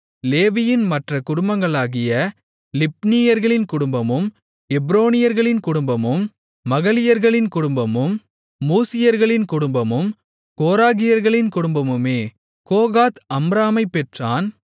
லேவியின் மற்றக் குடும்பங்களாகிய லிப்னீயர்களின் குடும்பமும் எப்ரோனியர்களின் குடும்பமும் மகலியர்களின் குடும்பமும் மூசியர்களின் குடும்பமும் கோராகியர்களின் குடும்பமுமே கோகாத் அம்ராமைப் பெற்றான்